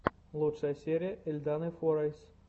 лучшая серия эльданы форайс эльданы форайс